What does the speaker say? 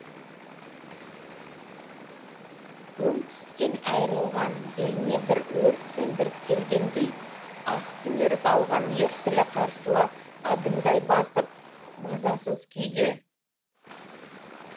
өң түстен айырылған бейне бір өрт сөндіріп келгендей ақ түнеріп алған ерсілі қарсылы адымдай басып мазасыз күйде